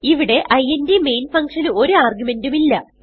ഇവിടെ int main functionന് ഒരു argumentഉം ഇല്ല